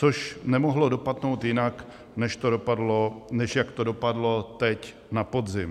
Což nemohlo dopadnout jinak, než jak to dopadlo teď na podzim.